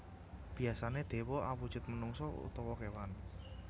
Biyasané dewa awujud menungsa utawa kéwan